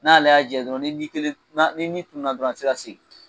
N'ale y'a jɛ dɔrɔn ni tununa dɔrɔn a tɛ se ka segin